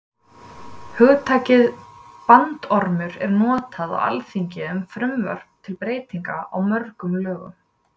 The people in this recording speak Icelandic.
Hugtakið bandormur er notað á alþingi um frumvörp til breytinga á mörgum lögum.